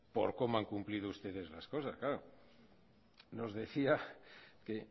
por cómo han cumplido ustedes las cosas nos decía que